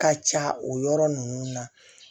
Ka ca o yɔrɔ ninnu na